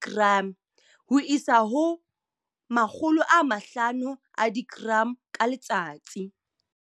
- 500 g ka letsatsi.